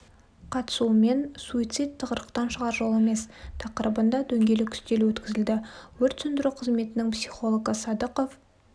қатысуымен суицид тығырықтан шығар жол емес тақырыбында дөңгелек үстел өткізілді өрт сөндіру қызметінің психологы садықов